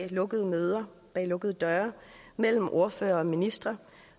lukkede møder bag lukkede døre mellem ordførere og ministre